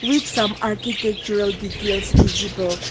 With some architectural details visible.